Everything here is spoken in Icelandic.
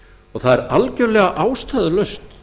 og það er algerlega ástæðulaust